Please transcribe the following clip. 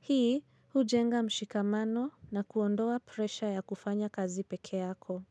Hii, hujenga mshikamano na kuondoa presha ya kufanya kazi pekee yako.